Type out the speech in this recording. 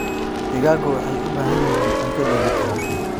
Digaagga waxay u baahan yihiin cunto dheellitiran.